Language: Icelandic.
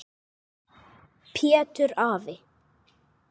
Pétur afi.